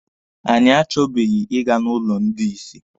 Anyị achọbeghị Ị ga n'ụlọ ndị isi.